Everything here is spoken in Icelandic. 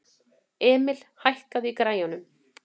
Emil, hækkaðu í græjunum.